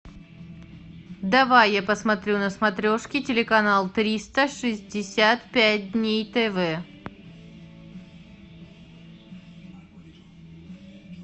давай я посмотрю на смотрешке телеканал триста шестьдесят пять дней тв